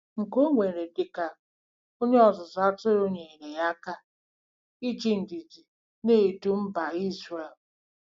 Nkà o nwere dị ka onye ọzụzụ atụrụ nyeere ya aka iji ndidi na-edu mba Izrel.